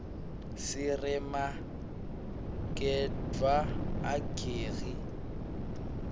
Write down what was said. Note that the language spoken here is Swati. siremagedwla ageri